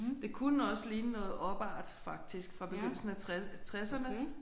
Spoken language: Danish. Det kunne også ligne noget opart faktisk fra begyndelsen af tresserne